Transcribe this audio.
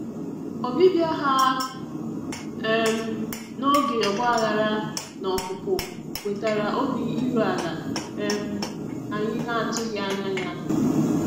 Ọbịbịa ha um n'oge ọgbaghara na opupu wetara obi iru ala um anyị na-atụghị anya ya.